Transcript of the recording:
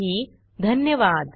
सहभागासाठी धन्यवाद